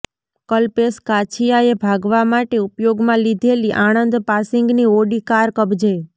કલ્પેશ કાછિયાએ ભાગવા માટે ઉપયોગમાં લીધેલી આણંદ પાસિંગની ઓડી કાર કબજે